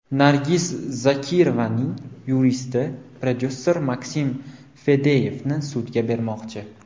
Nargiz Zokirovaning yuristi prodyuser Maksim Fadeyevni sudga bermoqchi.